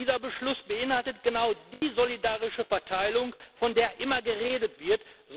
Dieser Beschluss beinhaltet genau die solidarische Verteilung, von der immer geredet wird.